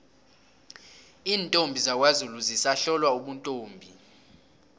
iintombi zakwazulu zisahlolwa ubuntombi